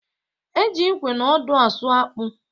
E ji ịkwe na ọdụ asụ akpụ